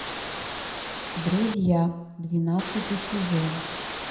друзья двенадцатый сезон